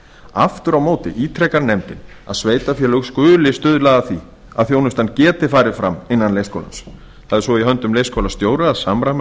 aftur á móti ítrekar nefndin að sveitarfélög skuli stuðla að því að þjónustan geti farið fram innan leikskólans það er svo í höndum leikskólastjóra að samræma